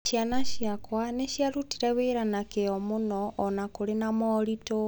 Ciana ciakwa nĩ ciarutire wĩra na kĩyo mũno o na kũrĩ na moritũ.